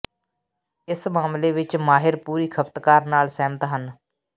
ਇਸ ਮਾਮਲੇ ਵਿੱਚ ਮਾਹਿਰ ਪੂਰੀ ਖਪਤਕਾਰ ਨਾਲ ਸਹਿਮਤ ਹਨ